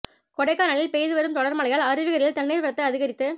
கொடைக்கானலில் பெய்து வரும் தொடா் மழையால் அருவிகளில் தண்ணீா் வரத்து அதிகரித்து